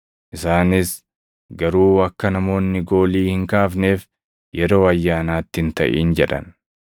Isaanis, “Garuu akka namoonni goolii hin kaafneef yeroo ayyaanaatti hin taʼin” jedhan.